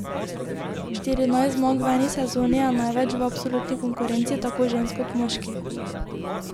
Štirinajst zmag v eni sezoni je največ v absolutni konkurenci tako žensk kot moških.